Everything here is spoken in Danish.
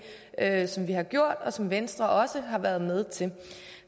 af dem vi har gjort og som venstre også har været med til